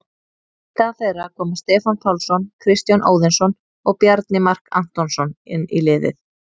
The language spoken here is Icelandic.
Í stað þeirra koma Stefán Pálsson, Kristján Óðinsson og Bjarni Mark Antonsson inn í liðið.